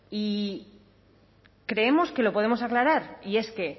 y creemos que lo podemos aclarar y es que